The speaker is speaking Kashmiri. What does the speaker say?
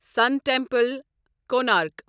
سَن ٹیمپل، کونارک